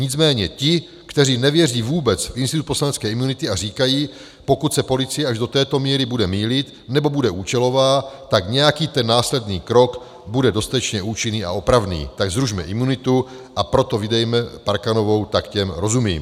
Nicméně ti, kteří nevěří vůbec v institut poslanecké imunity a říkají, pokud se policie až do této míry bude mýlit, anebo bude účelová, tak nějaký ten následný krok bude dostatečně účinný a opravný, tak zrušme imunitu, a proto vydejme Parkanovou, tak těm rozumím.